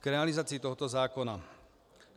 K realizaci tohoto zákona.